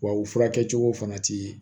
Wa u furakɛ cogo fana ti